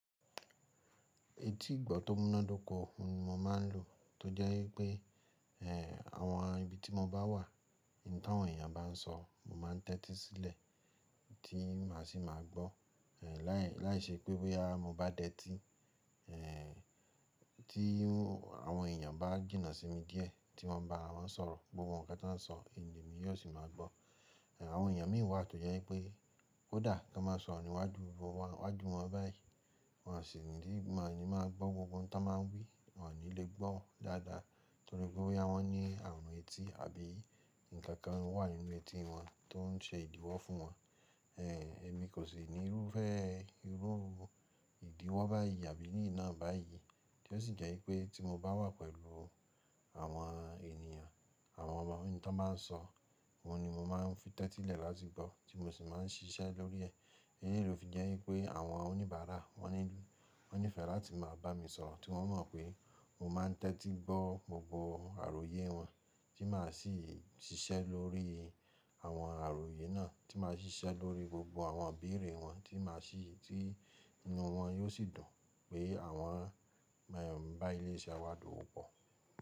Etí ìgbọ́ tó múnádóko ni mo máa ń lò tó jẹ́ wípé, àwọn ibi tí mo bá wà, ohun tí àwọn èèyàn bá ń sọ, mo máa ń tẹ́tí sílẹ̀ tí màá sì máa gbọ́. Láì- láìṣẹ́ pé bóyá mo bá dẹ́tí, tí àwọn èèyàn bá jìnà sí mi díẹ̀ tí wọ́n bá wá sọ̀rọ̀, gbogbo nǹkan tí wọ́n ń sọ ini èmi yóò sì máa gbọ́. Àwọn èèyàn mìí wà tó jẹ́ wípé kódà kí wọ́n máa sọ níwájú, wájú wọn báyìí, wọ́n á sì ní máa ni máa gbọ́ gbogbo ohun tí wọ́n máa ń wí, wọ́n ò ní lè gbọ́ dáadáa torí pé bóyá wọ́n ní àrùn etí àbí ǹkan kan wà nínú etí wọn tó ń ṣe ìdíwọ́ fún wọn. Èmi kò sì nírúfẹ́ irú ìdíwọ́ báyìí àbí ìní ina báyìí tí ó sì jẹ́ wípé tí mo bá wà pẹ̀lú àwọn ènìyàn, àwọn ọmọ, ohun tí wọ́n bá ń sọ, òun ni mo máa ń fi tẹ́tí lẹ̀ láti gbọ́ tí mo sì máa ń ṣiṣẹ́ lórí ẹ. Eyín ló fi jẹ́ wípé àwọn oníbàárà wọ́n nílùú wọ́n nífẹ̀ẹ́ láti máa bá mi sọ̀rọ̀ tí wọ́n mọ̀ pé mo máa ń tẹ́tí gbọ́ gbogbo àròyé wọn tí màá sì ṣiṣẹ́ lórí àwọn àròyé náà, tí màá ṣiṣẹ́ lórí gbogbo àwọn ibeere wọn tí màá sì-- tí inú wọn yóò sì dùn pé àwọn mọ̀ ń bá ilé iṣẹ́ wa dowopọ̀